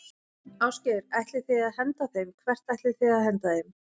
Ásgeir: Ætlið þið að henda þeim, hvert ætlið þið að henda þeim?